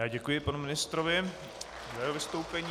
Já děkuji panu ministrovi za jeho vystoupení.